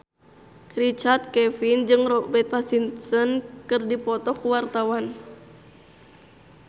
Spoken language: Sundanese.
Richard Kevin jeung Robert Pattinson keur dipoto ku wartawan